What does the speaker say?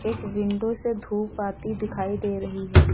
एक विंडो से धूप आती दिखाई दे रही है।